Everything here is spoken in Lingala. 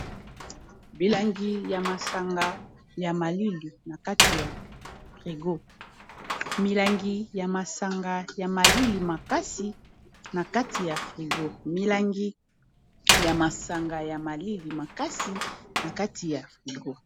Milangi ya masanga ya malili makasi na kati ya frigo milangi ya masanga ya malili makasi na kati ya frigo.